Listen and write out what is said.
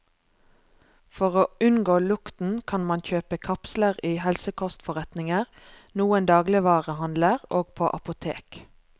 For å unngå lukten, kan man kjøpe kapsler i helsekostforretninger, noen dagligvarehandler og på apotek.